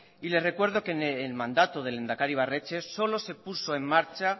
y le recuerdo que en el mandato del lehendakari ibarretxe solo se puso en marcha